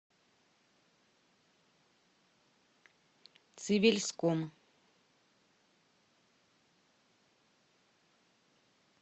цивильском